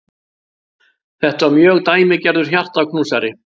Þetta var mjög dæmigerður hjartaknúsari.